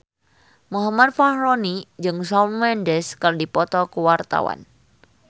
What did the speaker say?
Muhammad Fachroni jeung Shawn Mendes keur dipoto ku wartawan